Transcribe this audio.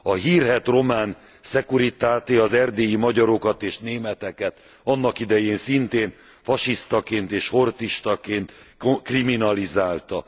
A hírhedt román Securitate az erdélyi magyarokat és németeket annak idején szintén fasisztaként és horthystaként kriminalizálta.